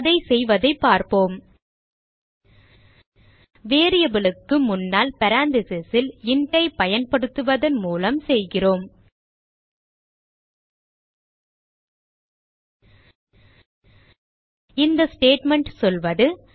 அதை செய்வதைப் பார்ப்போம் variable க்கு முன்னால் parentheses ல் int ஐ பயன்படுத்துவதன் மூலம் செய்கிறோம் இந்த ஸ்டேட்மெண்ட் சொல்வது